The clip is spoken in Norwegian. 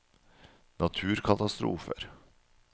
naturkatastrofer